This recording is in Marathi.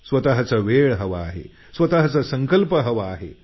स्वतचा वेळ हवा आहे स्वतचा संकल्प हवा आहे